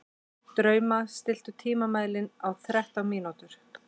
Drauma, stilltu tímamælinn á þrettán mínútur.